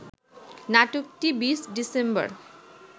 নাটকটি ২০ ডিসেম্বর